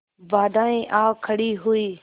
बाधाऍं आ खड़ी हुई